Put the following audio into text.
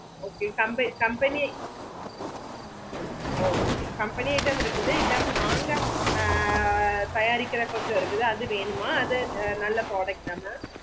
okay company company okay company item இருக்குது இல்லாம நாங்க ஆஹ் தயாரிக்குற கொஞ்ச இருக்கு அது வேணுமா அது நல்ல product mam